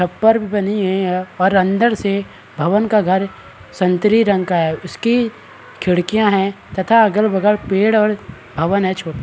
छप्पर भी बनी हुई है और अन्दर से भवन का रंग संतरी रंग का है उसकी खिडकिया है तथा अगल- बगल पेड़ और भवन है छोटा --